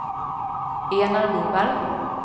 Enar Wiberg